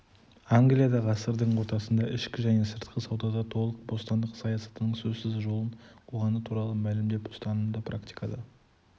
англия ғасырдың ортасында ішкі және сыртқы саудада толық бостандық саясатының сөзсіз жолын қуғаны туралы мәлімдеп ұстанымды практикада